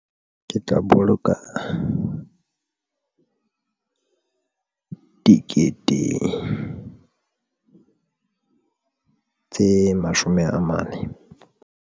Ke tla boloka dikete tse mashome a mane.